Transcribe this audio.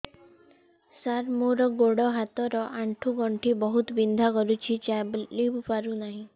ସାର ମୋର ଗୋଡ ହାତ ର ଆଣ୍ଠୁ ଗଣ୍ଠି ବହୁତ ବିନ୍ଧା କରୁଛି ଚାଲି ପାରୁନାହିଁ